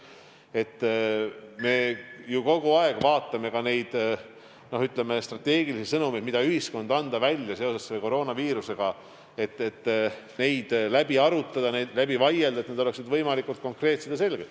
Me vaatame ju kogu aeg üle neid strateegilisi sõnumeid, mida ühiskonnale anda seoses koroonaviirusega, et neid läbi arutada, nende üle vaielda, et need oleksid võimalikult konkreetsed ja selged.